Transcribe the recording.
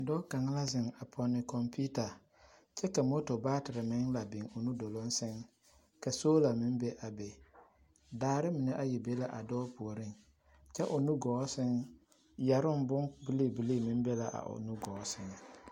Dɔɔ kaŋ la zeŋ a pɔne kɔmpiita kyɛ ka moto baatere meŋ la biŋ o nuɡɔɔ sɛŋ ka sola meŋ be a be daare mine ayi be la a dɔɔ puoriŋ kyɛ a o nuɡɔɔ sɛŋ yɛroŋ bombiliibilii be la a o nuɡɔɔ sɛŋ.